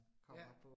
Ja